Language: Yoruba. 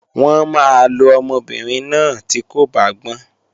Wọ́n máa lo ọmọbìnrin náà tí kò bá gbọ́n